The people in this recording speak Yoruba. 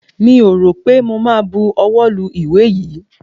Mi ò rọ̀ pé mo ma buwọ́ lu ìwé yìí.